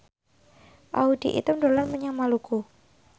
Audy Item dolan menyang Maluku